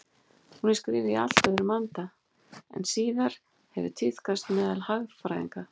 Hún er skrifuð í allt öðrum anda en síðar hefur tíðkast meðal hagfræðinga.